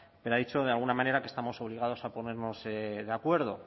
pero ha dicho de alguna manera que estamos obligados a ponernos de acuerdo